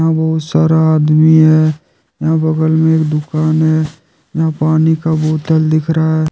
बहुत सारा आदमी है यहां बगल में एक दुकान है यहां पानी का बोतल दिख रहा --